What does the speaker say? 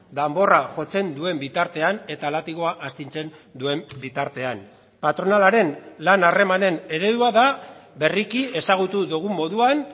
danborra jotzen duen bitartean eta latigoa astintzen duen bitartean patronalaren lan harremanen eredua da berriki ezagutu dugun moduan